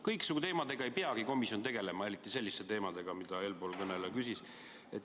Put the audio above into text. Kõiksugu teemadega ei peagi komisjon tegelema, eriti selliste teemadega, mille kohta eelkõneleja küsis.